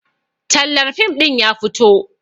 Tallar fim ɗin ya fito